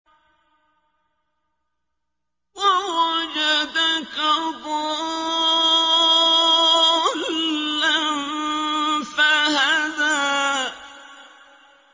وَوَجَدَكَ ضَالًّا فَهَدَىٰ